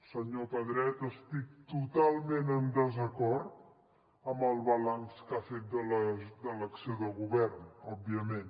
senyor pedret estic totalment en desacord amb el balanç que ha fet de l’acció de govern òbviament